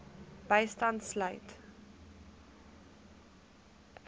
bystand sluit